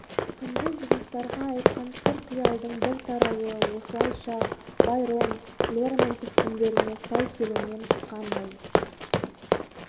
күндіз жастарға айтқан сыр қиялдың бір тарауы осылайша байрон лермонтов үндеріне сай келумен шыққандай